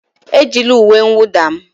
Ejila uwe mwụda m!